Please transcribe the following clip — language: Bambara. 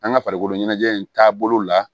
An ka farikoloɲɛnajɛ in taabolo la